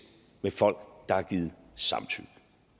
med folk der har givet samtykke